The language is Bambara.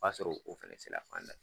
O b'a sɔrɔ o fɛnɛ se la fan da ye.